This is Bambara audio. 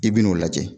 I bɛn'o lajɛ